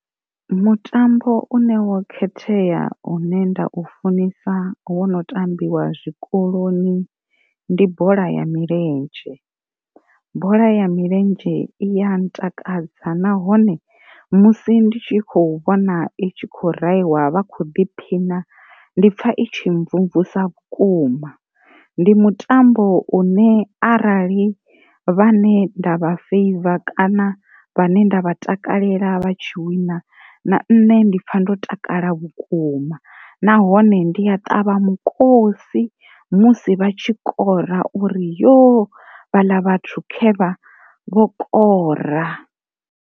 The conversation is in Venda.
Mutambo une wo khethea une nda u funesa wono tambiwa zwikoloni ndi bola ya milenzhe, bola ya milenzhe iya ntakadza nahone musi ndi tshi khou vhona i tshi khou rahiwa vha kho ḓiphina ndipfa itshi mvumvusa vhukuma. Ndi mutambo une arali vhane ndavha feiva kana vhane nda vha takalela vha tshi wina na nṋe ndi pfa ndo takala vhukuma nahone ndi a ṱavha mukosi musi vha tshi kora uri yoo vha ḽa vhathu khevha, vho kora.